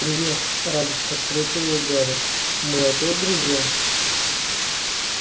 привет радостно встретил её гарри мы опять друзья